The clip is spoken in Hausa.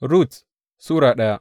Rut Sura daya